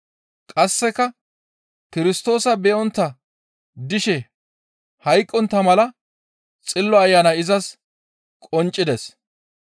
Qasseka Kirstoosa be7ontta dishe hayqqontta mala Xillo Ayanay izas qonccides.